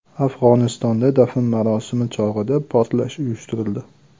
Afg‘onistonda dafn marosimi chog‘ida portlash uyushtirildi.